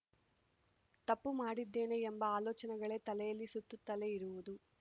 ತಪ್ಪು ಮಾಡಿದ್ದೇನೆ ಎಂಬ ಆಲೋಚನೆಗಳೇ ತಲೆಯಲ್ಲಿ ಸುತ್ತುತ್ತಲೇ ಇರುವುದು